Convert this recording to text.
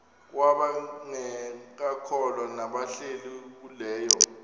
kwabangekakholwa nabahlehli leyo